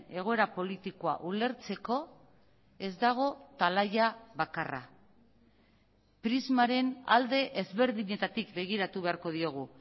egoera politikoa ulertzeko ez dago talaia bakarra prismaren alde ezberdinetatik begiratu beharko diogu